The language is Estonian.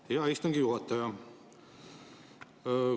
Aitäh, hea istungi juhataja!